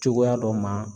Cogoya dɔ ma